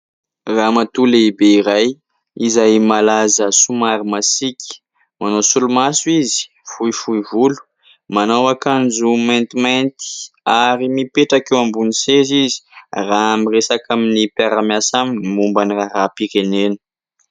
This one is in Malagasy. Ramatoa lehibe iray izay malaza somary masiaka. Manao solomaso izy, fohifohy volo manao akanjo maintimainty ary mipetraka eo ambony seza izy raha miresaka amin'ny mpiara-miasa aminy momba ny raharaham-pirenena.